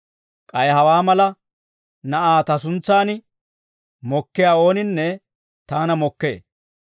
K'ay hawaa mala na'aa ta suntsaan mokkiyaa ooninne taana mokkee.